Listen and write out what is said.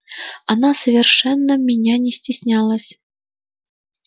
она совершенно меня не стеснялась